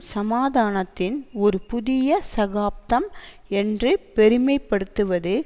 சமாதானத்தின் ஒரு புதிய சகாப்தம் என்று பெருமைப்படுத்துவது